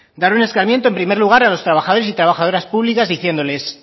dar un escarmiento en primer lugar a los trabajadores y trabajadoras públicas diciéndoles